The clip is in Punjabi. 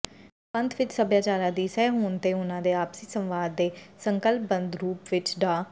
ਪੰਥ ਵਿਚ ਸੱਭਿਆਚਾਰਾਂ ਦੀ ਸਹਿਹੋਂਦ ਤੇ ਉਨ੍ਹਾਂ ਦੇ ਆਪਸੀ ਸੰਵਾਦ ਨੂੰ ਸੰਕਲਪਬੱਧ ਰੂਪ ਵਿਚ ਡਾ